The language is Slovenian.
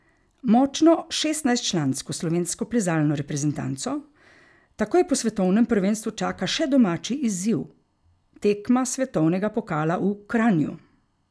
Močno šestnajstčlansko slovensko plezalno reprezentanco takoj po svetovnem prvenstvu čaka še domači izziv, tekma svetovnega pokala v Kranju.